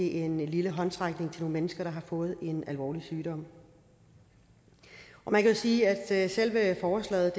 en lille håndsrækning til nogle mennesker der har fået en alvorlig sygdom man kan sige at selve forslaget